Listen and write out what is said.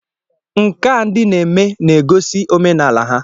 Nka ndị na-eme na-egosi omenala ha